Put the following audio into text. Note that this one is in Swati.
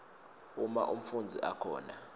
uma umfundzi akhona